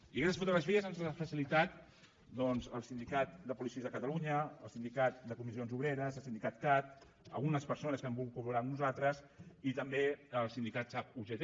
i aquestes fotografies ens les han facilitat doncs el sindicat de policies de catalunya el sindicat de comissions obreres el sindicat cat algunes persones que han volgut colnosaltres i també el sindicat sap ugt